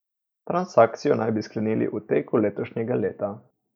Transakcijo naj bi sklenili v teku letošnjega leta.